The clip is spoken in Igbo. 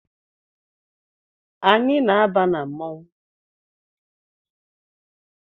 Anyị na-aba na mmanwụ